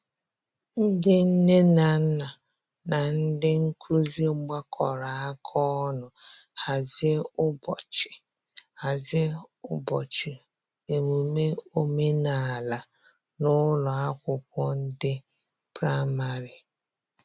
ndi nne na nna na ndi nkụzi gbakọrọ aka ọnụ hazie ubochi hazie ubochi emume omenala n'ụlọ akwụkwo ndi praịmarị